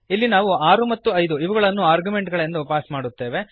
ಇಲ್ಲಿ ನಾವು 6 ಮತ್ತು 5 ಇವುಗಳನ್ನು ಆರ್ಗ್ಯುಮೆಂಟ್ ಗಳೆಂದು ಪಾಸ್ ಮಾಡುತ್ತೇವೆ